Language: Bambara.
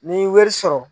Ni wari sɔrɔ